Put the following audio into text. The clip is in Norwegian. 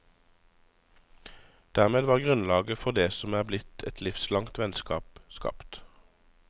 Dermed var grunnlaget for det som er blitt et livslangt vennskap skapt.